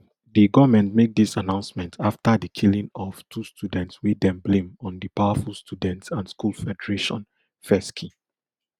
di goment make dis announcement afta di killing of two students wey dem blame on di powerful student and school federation fesci